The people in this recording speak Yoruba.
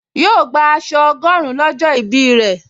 Yóò gbà aṣọ ọgọ́rin lọ́jọ́ ìbí rẹ̀